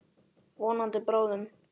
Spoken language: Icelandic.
Vonandi bráðum.